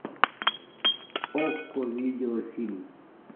окко видеофильм